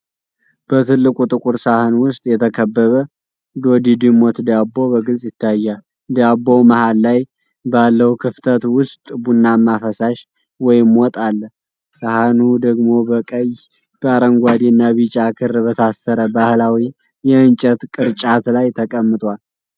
በትልቁ ጥቁር ሳህን ውስጥ የተከበበ ዶድድሞት ዳቦ በግልጽ ይታያል። ዳቦው መሀል ላይ ባለው ክፍተት ውስጥ ቡናማ ፈሳሽ ወይም ወጥ አለ። ሳህኑ ደግሞ በቀይ፣ በአረንጓዴና ቢጫ ክር በታሰረ ባህላዊ የእንጨት ቅርጫት ላይ ተቀምጧል።